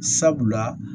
Sabula